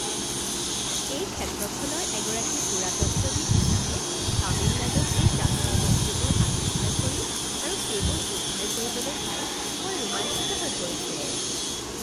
এই ক্ষেত্ৰখনৰ এগৰাকী পুৰাতত্ত্ববিদ হিচাপে, তামিলনাডুত এই প্ৰাচীন মূৰ্তিবোৰ আৱিষ্কাৰ কৰি আৰু সেইবোৰ উদ্ধাৰ কৰিবলৈ পাই মই ৰোমাঞ্চিত হৈ পৰিছিলোঁ।